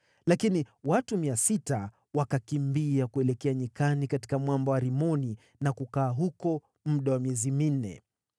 Lakini watu 600 wakakimbia kuelekea nyikani katika mwamba wa Rimoni, na kukaa huko muda wa miezi minne.